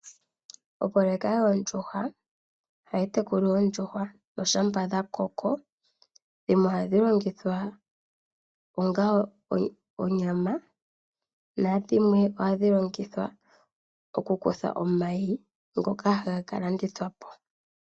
Opoloyeka yoondjuhwa ohayi tekula oondjuhwa . Ngele dhakoko dhimwe ohadhi longithwa onga onyama nadhimwe ohadhi longithwa okukutha omayi ngoka haga kalandithwa po.